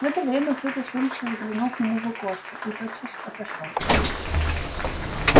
в это время кто-то с улицы заглянул к нему в окошко и тотчас отошёл